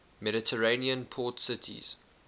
mediterranean port cities